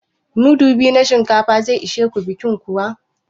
Mudu biyu na shinkafa zai ishe ku bikin kuwa?